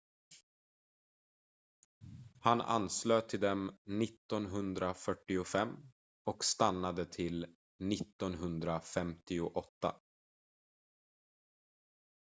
han anslöt till dem 1945 och stannade till 1958